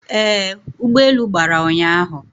Ee, ụgbọelu gbara ụnyahụ